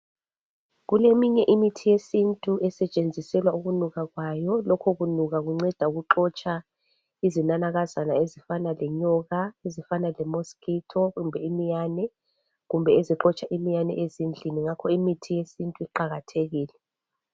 Kuleminye imithi yesintu esetshenziselwa ukunuka kwayo lokho kunuka kunceda ukuxotsha izinanakazana ezifana lenyoka ezifana lemosquito kumbe iminyane kumbe ezixotsha iminyane ezindlini ngakho imithi yesintu iqakathekile.